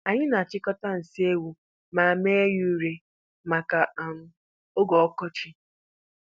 Anyị na-achịkọta nsi ewu ma mee ya ure maka um oge ọkọchị.